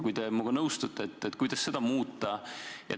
Kui te minuga nõustute, siis kuidas seda muuta?